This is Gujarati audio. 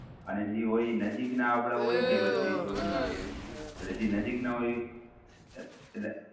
અને જે હોય એ નજીકના આપણા હોય કે પછી દૂર ના એમ? જે નજીક ના હોય એ એટલે